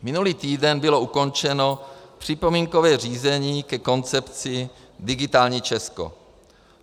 Minulý týden bylo ukončeno připomínkové řízení ke koncepci digitální Česko.